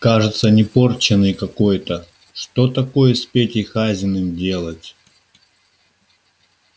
кажется непорченой какой-то что такой с петей хазиным делать